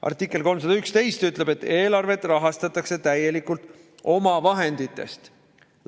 Artikkel 311 ütleb, et eelarvet rahastatakse täielikult omavahenditest.